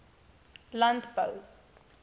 landbou